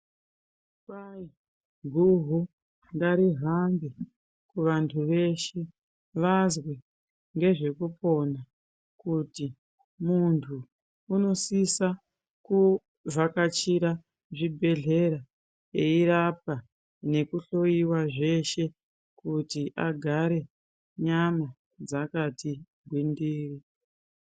Kwazi guhu ngarihambe kuvantu veshe vazwe ngezvekupona kuti munthu unosisa kuvhakachira zvibhedlera eirapwa nekuhloyiwa zveshe kuti agare nyama dzakati gwindiri.